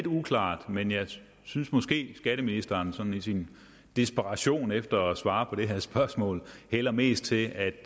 uklart men jeg synes måske skatteministeren sådan i sin desperation efter at svare på det her spørgsmål hælder mest til at